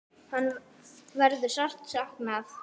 Hennar verður sárt saknað.